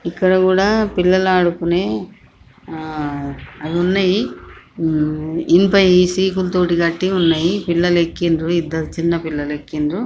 ఇక్కడ కూడా పిల్లలు ఆడుకునే అవి ఉన్నాయి. ఇనపాయి సీకుల్తోటి కట్టి ఉన్నాయి. పిల్లలు ఎక్కిన్రు ఇద్దరు చిన్న పిల్లలు ఎక్కిన్రు.